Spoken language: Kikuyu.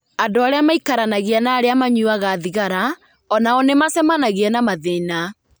Andũ arĩa maikaranagia na arĩa manyuaga thigara o nao nĩ macemanagia na mathĩna.